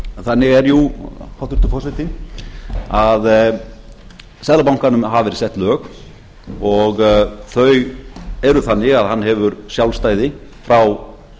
þannig er jú hæstvirtur forseti að seðlabankanum hafa verið sett lög og þau eru þannig að hann hefur sjálfstæði frá